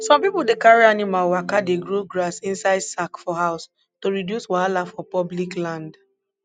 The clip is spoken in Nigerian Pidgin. some people dey carry animal waka dey grow grass inside sack for house to reduce wahala for public land